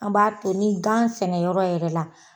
An b'a to ni gan sɛnɛ yɔrɔ yɛrɛ la